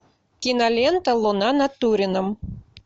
кинолента луна над турином